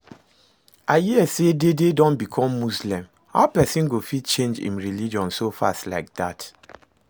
I hear say Dede don become muslim, how person go fit change im religion so fast like that?